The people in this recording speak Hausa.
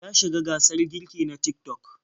Ta shiga gasar girki na Tik-tok.